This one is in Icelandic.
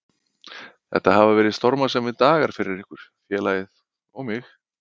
Þetta hafa verið stormasamir dagar fyrir ykkur, félagið og mig.